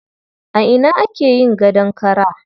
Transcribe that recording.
A ina ake yin gadon kara?